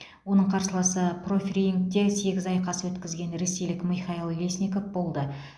оның қарсыласы профирингте сегіз айқас өткізген ресейлік михаил лесников болды